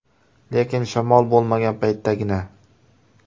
Lekin shamol bo‘lmagan paytdagina.